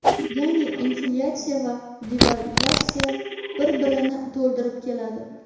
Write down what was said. Ya’ni, inflyatsiya va devalvatsiya bir-birini to‘ldirib keladi.